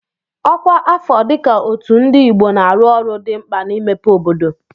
Ọkwa afọ dị ka Otu Ndi Igbo na-arụ ọrụ dị mkpa na-imepe obodo.